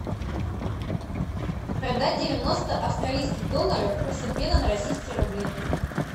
продать девяносто австралийских долларов курс обмена на российские рубли